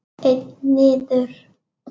Einn niður?